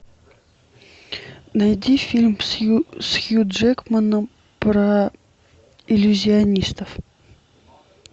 найди фильм с хью джекманом про иллюзионистов